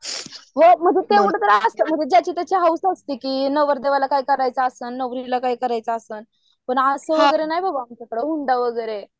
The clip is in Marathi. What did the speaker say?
हो म्हणजे तेवढं तरी असतं म्हणजे ज्याची त्याची हौस असते की नवरदेवाला काय करायचं असलं की, नवरीला काय करायचं असलं पुन्हा असं हुंडा वगैरे.